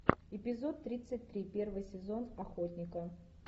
эпизод тридцать три первый сезон охотника